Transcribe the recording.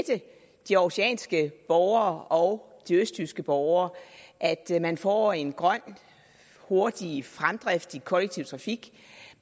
de århusianske borgere og de østjyske borgere at man får en grøn og hurtig fremdrift i den kollektive trafik